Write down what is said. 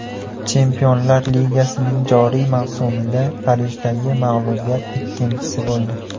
Chempionlar ligasining joriy mavsumida Parijdagi mag‘lubiyat ikkinchisi bo‘ldi.